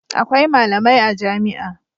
Akwai malamai a jami'a.